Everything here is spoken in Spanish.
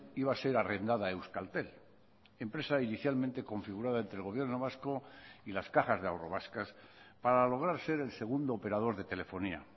iba a ser arrendada a euskaltel empresa inicialmente configurada entre el gobierno vasco y las cajas de ahorro vascas para lograr ser el segundo operador de telefonía